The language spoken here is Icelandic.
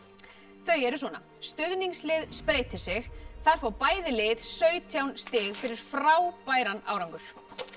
þau eru svona stuðningslið spreytir sig þar fá bæði lið sautján stig fyrir frábæran árangur